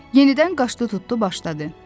Yenidən qaşdı tutdu başladı.